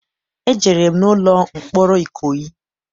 Ejere m n'ụlọ mkpọrọ Ikoyi.